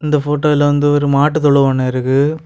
இந்த ஃபோட்டோல வந்து ஒரு மாட்டு தொழுவம் ஒன்னு இருக்கு.